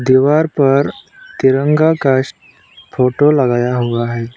दीवार पर तिरंगा का फोटो लगाया हुआ है।